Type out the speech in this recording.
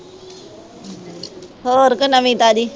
ਹੋਰ ਕੋਈ ਨਵੀਂ ਤਾਜ਼ੀ